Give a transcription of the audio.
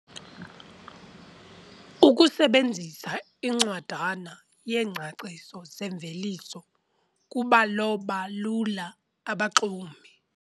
Ukusebenzisa incwadana yeengcaciso zeemveliso kubaloba lula abaxumi.